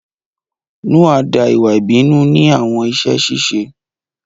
Noa da iwa ibinu ni awọn iṣẹ ṣiṣe